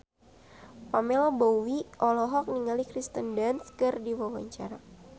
Pamela Bowie olohok ningali Kirsten Dunst keur diwawancara